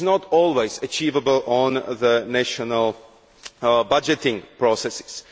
This is not always achievable in the national budgeting processes.